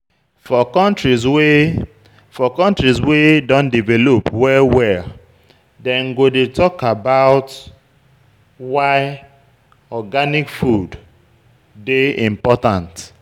For countries wey For countries wey don develop well well, dem go dey talk of why organic food dey important